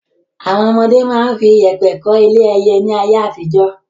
Àwọn ọmọdé máa ń fi yèpẹ̀ kọ́ ilé ẹyẹ ni ayé àtijọ́.